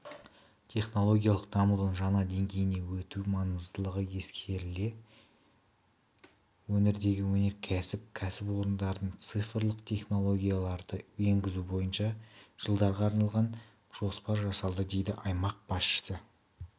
технологиялық дамудың жаңа деңгейіне өту маңыздылығы ескеріле келе өңірдегі өнеркәсіп кәсіпорындарындацифрлық технологияларды енгізу бойынша жылдарға арналған жоспар жасалды деді аймақ басшысы